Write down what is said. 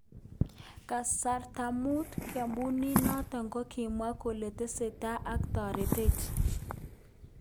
Kasta mut ,kampunit noton kakimwa kole tesetai ak toretet.